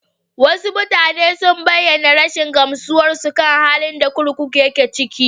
Wasu mutane sun bayyana rashin gamsuwarsu kan halin da kurkukun yake ciki.